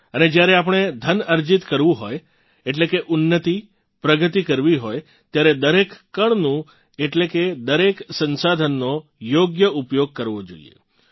અને જ્યારે આપણે ધન અર્જિત કરવું હોય એટલે કે ઉન્નતિપ્રગતિ કરવી હોય ત્યારે દરેક કણનું એટલે કે દરેક સંસાધનનો યોગ્ય ઉપયોગ કરવો જોઇએ